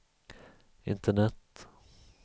internet